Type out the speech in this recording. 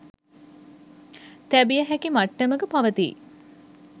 තැබිය හැකි මට්ටමක පවතියි.